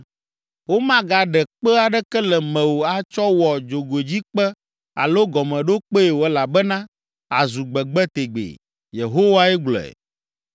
Womagaɖe kpe aɖeke le mewò atsɔ wɔ dzogoedzikpe alo gɔmeɖokpee o elabena àzu gbegbe tegbee.” Yehowae gblɔe.